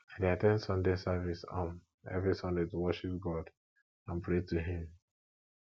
i dey at ten d sunday service um every sunday to worship god and pray to him